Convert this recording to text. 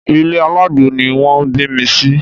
Ilé alágbo ni wọ́n bí mi sí